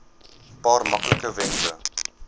paar maklike wenke